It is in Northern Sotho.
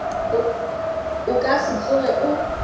o ka se tsoge o